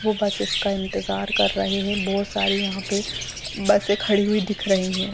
वो बस इसका इन्तजार कर रहे हैं बहुत सारी यहाँ पे बसें खड़ी हुई दिख रही हैं ।